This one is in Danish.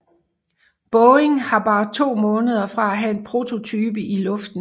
Boeing var bare to måneder fra at have en prototype i luften